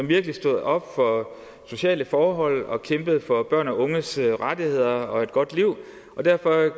virkelig stod op for sociale forhold og kæmpede for børns og unges rettigheder og et godt liv og derfor